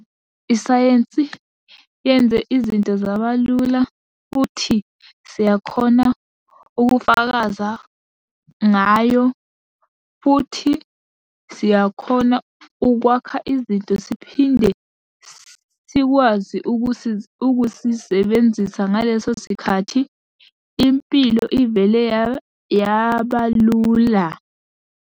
Isayensi yenze izinto zabalula, futhi siyakhona ukufakaza ngayo, futhi siyakhona ukwakha izinto siphinde sikwazi ukuzisebenzisa ngaleso sikhathi. Impilo ivele yabalula.